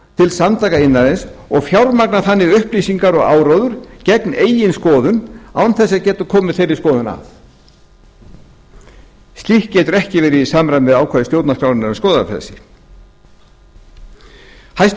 til samtaka iðnaðarins og fjármagna þannig upplýsingar og áróður gegn eigin skoðun án þess að geta komið henni að slíkt getur ekki verið í samræmi við ákvæði stjórnarskrár um skoðanafrelsi aðilar sem eru á öndverðri skoðun og eru sannfærðir um að slíkar